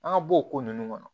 An ka bɔ o ko nunnu kɔnɔ